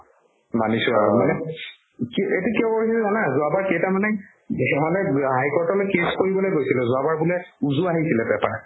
মানিছো আৰু মানে তুমি কি এইটো কিয় কৰিলে জানা যোৱাবাৰ কেইটামানে বেছিভাগে high court লে case কৰিবলে গৈছিলে যোৱাবাৰ বোলে উজু আহিছিলে paper